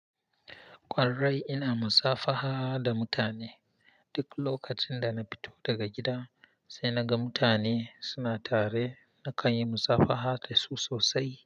Ƙwarai ina musafaha da mutane. Duk lokacin da na fito daga gida sai na ga mutane suna tare nakan yi musafaha da su sosai.